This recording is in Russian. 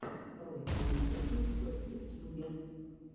ролик моей кухни в ютьюбе